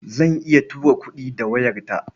Zan iya tura kuɗi da wayarta.